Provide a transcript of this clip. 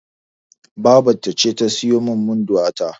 Babata ce ta siyo min Munduwa ta.